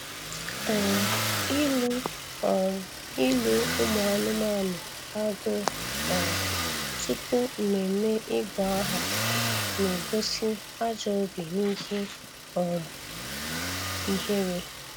um Ilu um Ilu ụmụ anụmanụ agụ um tupu mmemme ịgụ aha na-egosi ajọ obi na ihe um ihere